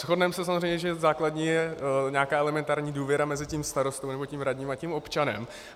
Shodneme se samozřejmě, že základní je nějaká elementární důvěra mezi tím starostou nebo tím radním a tím občanem.